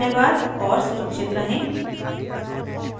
सुनने के लिए धन्यवाद और सुरक्षित रहें